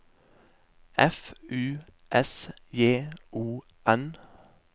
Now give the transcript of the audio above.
F U S J O N